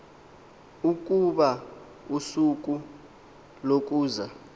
ukuba usuku lokuza